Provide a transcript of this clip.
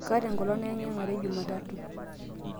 kaata enkolong' naeng; iyang; are jumatatu